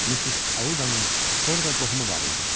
Mis Audanın orda qohumu var idi.